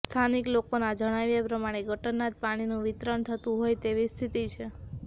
સ્થાનિક લોકોના જણાવ્યા પ્રમાણે ગટરના જ પાણીનું વિતરણ થતુ હોય તેવી સ્થિતી છે